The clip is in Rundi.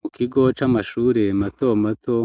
Mu kigo c'amashure mato mato